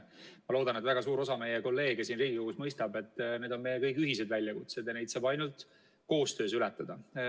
Ma loodan, et väga suur osa meie kolleege siin Riigikogus mõistab, et need on meie kõigi ühiseid väljakutseid ja neid saab ainult koostöös ületada.